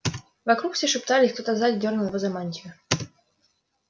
вокруг все шептались кто-то сзади дёрнул его за мантию